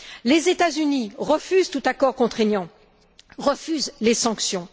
Les États Unis refusent tout accord contraignant, refusent les sanctions.